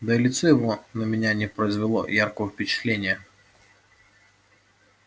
да и лицо его на меня не произвело яркого впечатления